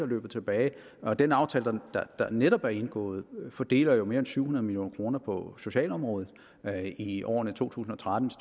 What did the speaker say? løbet tilbage og den aftale der netop er indgået fordeler jo mere end syv hundrede million kroner på socialområdet i årene to tusind og tretten